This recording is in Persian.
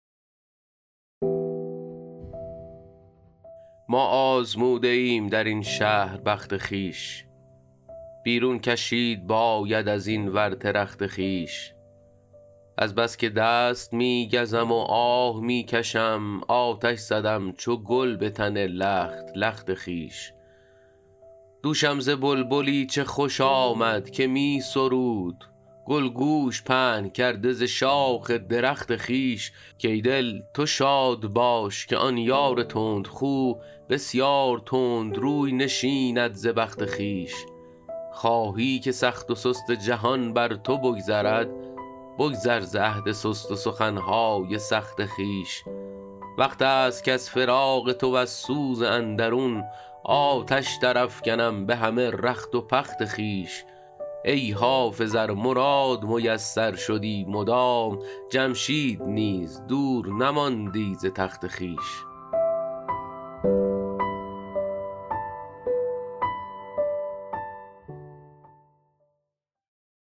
ما آزموده ایم در این شهر بخت خویش بیرون کشید باید از این ورطه رخت خویش از بس که دست می گزم و آه می کشم آتش زدم چو گل به تن لخت لخت خویش دوشم ز بلبلی چه خوش آمد که می سرود گل گوش پهن کرده ز شاخ درخت خویش کای دل تو شاد باش که آن یار تندخو بسیار تند روی نشیند ز بخت خویش خواهی که سخت و سست جهان بر تو بگذرد بگذر ز عهد سست و سخن های سخت خویش وقت است کز فراق تو وز سوز اندرون آتش درافکنم به همه رخت و پخت خویش ای حافظ ار مراد میسر شدی مدام جمشید نیز دور نماندی ز تخت خویش